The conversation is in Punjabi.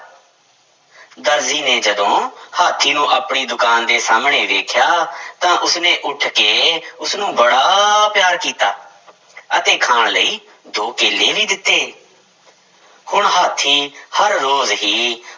ਦਰਜੀ ਨੇ ਜਦੋਂ ਹਾਥੀ ਨੂੰ ਆਪਣੀ ਦੁਕਾਨ ਦੇ ਸਾਹਮਣੇ ਵੇਖਿਆ ਤਾਂ ਉਸਨੇ ਉੱਠ ਕੇ ਉਸਨੂੰ ਬੜਾ ਪਿਆਰ ਕੀਤਾ ਅਤੇ ਖਾਣ ਲਈ ਦੋ ਕੇਲੇ ਵੀ ਦਿੱਤੇ ਹੁਣ ਹਾਥੀ ਹਰ ਰੋਜ਼ ਹੀ